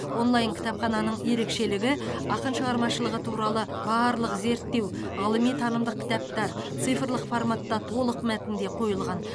онлайн кітапхананың ерекшелігі ақын шығармашылығы туралы барлық зерттеу ғылыми танымдық кітаптар цифрлық форматта толық мәтінде қойылған